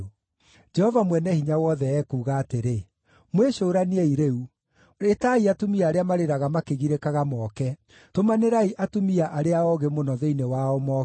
Jehova Mwene-Hinya-Wothe ekuuga atĩrĩ: “Mwĩcũraniei rĩu! Ĩtai atumia arĩa marĩraga makĩgirĩkaga moke; tũmanĩrai atumia arĩa oogĩ mũno thĩinĩ wao moke.